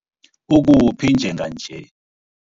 Ukuphi njenganje?